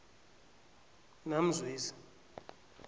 namzwezi